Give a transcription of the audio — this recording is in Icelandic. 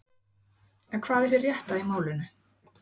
En hvað er hið rétta í málinu?